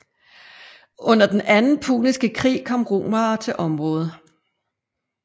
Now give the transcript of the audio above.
Under den anden puniske krig kom romerne til området